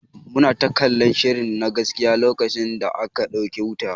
Muna ta kallan shiri na gaskiya lokacin da aka dauke wuta.